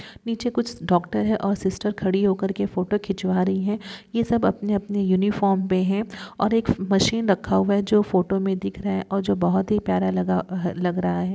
निचे कुछ डॉक्टर है और सिस्टर खड़ी होकर के फोटो खिचवा रही है ये सब अपनी-अपनी यूनिफार्म मै है और एक मशीन रखा हुआ है जो फोटो मै दिख रहा है ओर जो बहुत हि प्यारा लग रहा है।